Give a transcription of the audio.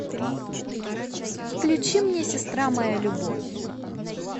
включи мне сестра моя любовь